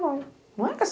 Não vai. Não é